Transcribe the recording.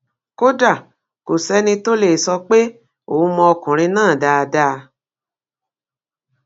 kódà kò sẹni tó lè sọ pé òun mọ ọkùnrin náà dáadáa